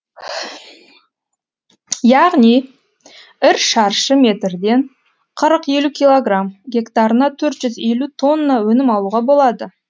яғни ір шаршы метрден қырық елу килограмм гектарына төрт жүз елу тонна өнім алуға болады